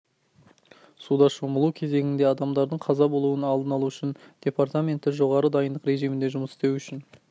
суда шомылу кезеңінде адамадардың қаза болуын алдын алу үшін департаменті жоғары дайындық режимінде жұмыс істеу үшін